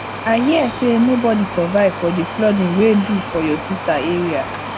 i hear say nobody survive for the flooding wey do for your sister area